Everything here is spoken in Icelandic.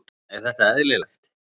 Er þetta eðlilegt?